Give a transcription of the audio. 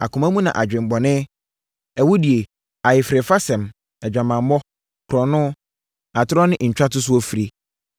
Akoma mu na adwemmɔne, awudie, ayerefasɛm, adwamammɔ, korɔno, atorɔ ne ntwatosoɔ firi.